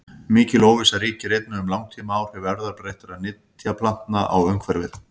Mikil óvissa ríkir einnig um langtímaáhrif erfðabreyttra nytjaplantna á umhverfið.